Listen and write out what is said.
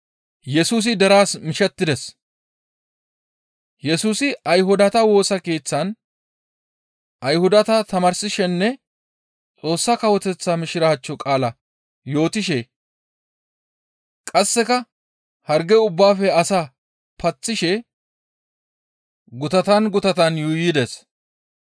Yesusi Ayhudata Woosa Keeththan Ayhudata tamaarsishenne Xoossa Kawoteththa Mishiraachcho qaala yootishe qasseka harge ubbaafe asaa paththishe gutatan gutatan yuuyides.